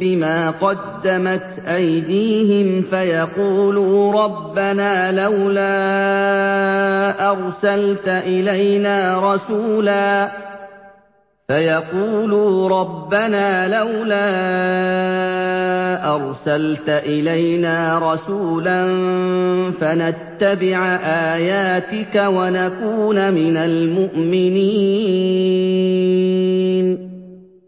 بِمَا قَدَّمَتْ أَيْدِيهِمْ فَيَقُولُوا رَبَّنَا لَوْلَا أَرْسَلْتَ إِلَيْنَا رَسُولًا فَنَتَّبِعَ آيَاتِكَ وَنَكُونَ مِنَ الْمُؤْمِنِينَ